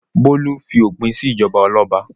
Bólú fi òpin sí ìjọba ọlọ́ba.